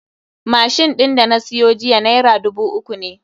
Machine ɗin da na siyo jiya naira dubu uku ne